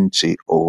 NGO.